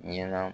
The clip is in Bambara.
Ɲɛna